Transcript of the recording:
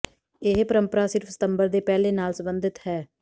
ਇਹ ਪਰੰਪਰਾ ਸਿਰਫ ਸਤੰਬਰ ਦੇ ਪਹਿਲੇ ਨਾਲ ਸੰਬੰਧਿਤ ਹੈ